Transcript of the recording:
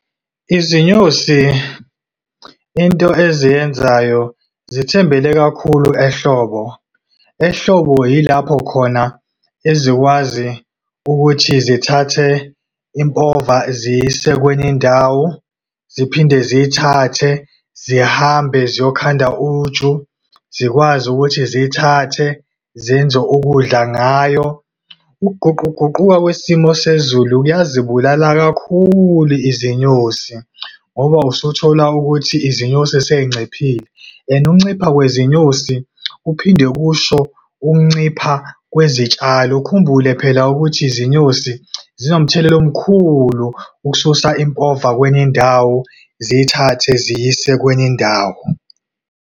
Izinyosi into eziyenzayo, zithembele kakhulu ehlobo. Ehlobo yilapho khona ezikwazi ukuthi zithathe impova ziyise kwenye indawo, ziphinde ziyithathe zihambe ziyokhanda uju. Zikwazi ukuthi ziyithathe zenze ukudla ngayo. Ukuguquguquka kwesimo sezulu kuyazibulala kakhulu izinyosi, ngoba usuthola ukuthi izinyosi sey'nciphile, and ukuncipha kwezinyoni kuphinde kusho ukuncipha kwezitshalo. Ukhumbule phela ukuthi izinyosi zinomthelela omkhulu ukususa impova kwenye indawo ziyithathe ziyise kwenye indawo.